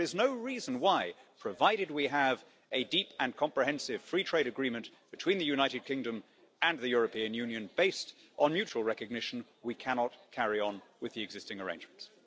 There is no reason why, provided we have a deep and comprehensive free trade agreement between the United Kingdom and the European Union based on mutual recognition, we cannot carry on with the existing arrangements.